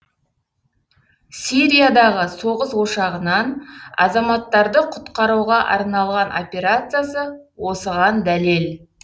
сириядағы соғыс ошағынан азаматтарды құтқаруға арналған операциясы осыған дәлел